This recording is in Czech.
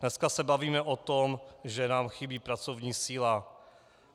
Dnes se bavíme o tom, že nám chybí pracovní síla.